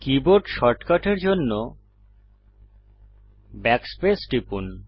keyboard শর্টকাটের জন্য backspace টিপুন